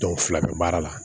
fila bɛ baara la